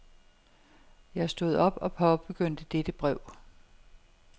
Jeg stod op og påbegyndte dette brev.